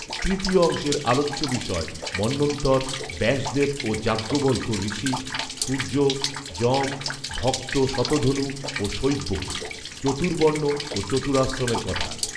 তৃতীয় অংশের আলোচ্য বিষয় মন্বন্তর, ব্যাসদেব ও যাজ্ঞবল্ক্য ঋষি, সূর্য, যম, ভক্ত শতধনু ও শৈব্য, চতুর্বর্ণ ও চতুরাশ্রমের কথা